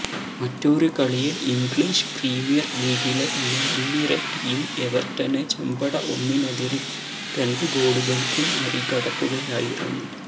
മറ്റൊരു കളിയില് English premier ലീഗിലെ തന്നെ മുന്നിര ടീം എവര്ട്ടനെ ചെമ്പട ഒന്നിനെതിരേ രണ്ടു ഗോളുകള്ക്കു മറികടക്കുകയായിരുന്നു